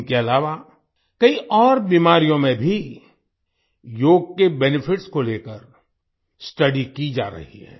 इनके अलावा कई और बीमारियों में भी योग के बेनिफिट्स को लेकर स्टडी की जा रही है